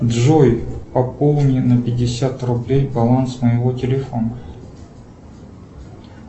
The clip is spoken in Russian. джой пополни на пятьдесят рублей баланс моего телефона